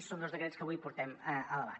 i són dos decrets que avui portem a debat